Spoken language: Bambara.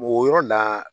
O yɔrɔ la